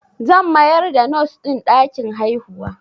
Zan mayar da Nos ɗin ɗakin haihuwa